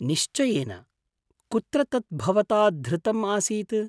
निश्चयेन, कुत्र तत् भवता धृतम् आसीत्?